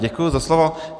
Děkuji za slovo.